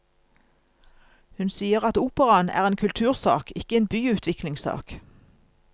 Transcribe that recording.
Hun sier at operaen er en kultursak, ikke en byutviklingssak.